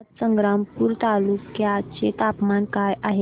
आज संग्रामपूर तालुक्या चे तापमान काय आहे